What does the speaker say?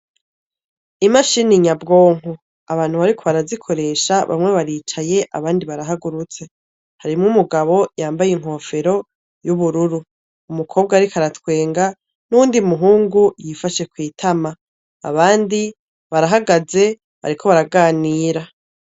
Imashini nyabwonko abantu bariko barazikoresha bamwe baricaye abandi barahagurutse, harimwo umugabo yambaye inkofero y'ubururu, umukobwa ariko aratwenga n'uwundi muhungu yifashe kw'itama ,abandi barahagaze bariko baraganira.